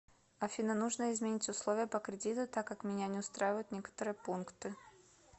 афина нужно изменить условия по кредиту так как меня не устраивают некоторые пункты